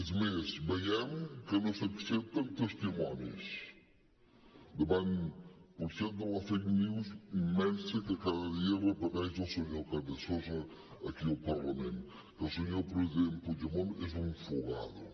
és més veiem que no s’accepten testimonis davant potser de la fake news immensa que cada dia repeteix el senyor carrizosa aquí al parlament que el senyor president puigdemont és un fugado